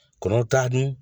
Kɔnɔw t'a dun